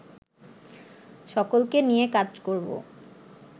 সকলকে নিয়ে কাজ করবো